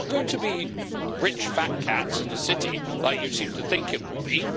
It is not going to be rich fat cats in the City, as you seem to think it will be